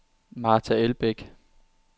Marta Elbæk